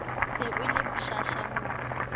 se o le pshasha ho